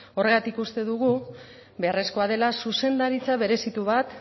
horregatik uste dugu beharrezkoa dela zuzendaritza berezitu bat